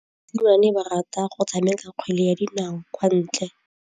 Basimane ba rata go tshameka kgwele ya dinaô kwa ntle.